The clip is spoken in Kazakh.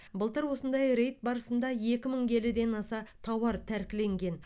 былтыр осындай рейд барысында екі мың келіден аса тауар тәркіленген